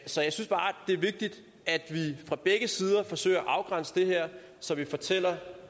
så jeg synes bare det er vigtigt at vi fra begge sider forsøger at afgrænse det her så vi fortæller